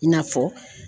I n'a fɔ